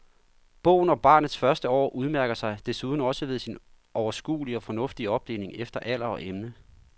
Bogen om barnets første år udmærker sig desuden også ved sin overskuelige og fornuftige opdeling efter alder og emne.